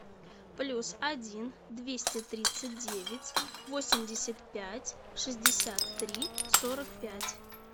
плюс один двести тридцать девять восемьдесят пять шестьдесят три сорок пять